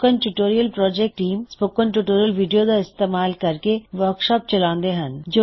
spoken tutorial project team spoken tutorial video ਦਾ ਇਸਤੇਮਾਲ ਕਰਕੇ ਵਰ੍ਕਸ਼ਾਪਸ ਚਲਾਉਂਦੀ ਹੈ